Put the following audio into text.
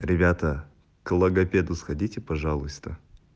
ребята к логопеду сходите пожалуйста